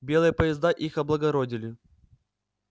белые поезда их облагородили